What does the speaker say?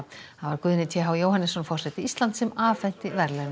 Guðni t h Jóhannesson forseti Íslands afhenti verðlaunin